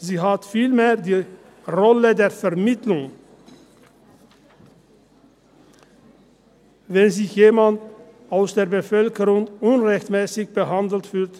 Sie hat vielmehr die Rolle der Vermittlung inne, wenn sich jemand aus der Bevölkerung unrechtmässig behandelt fühlt.